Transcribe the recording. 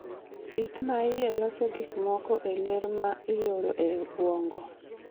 It ma iye loso gik moko e ler ma e oro e obwongo.